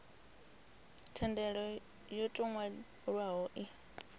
thendelo yo tou nwalwaho i